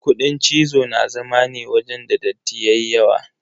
Kuɗin cizo na zama ne wajen da datti yayi yawa.